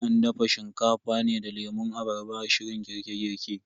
An dafa Shinkafa ne da lemun abarba a shirin girke girke.